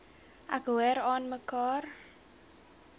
ek hoor aanmekaar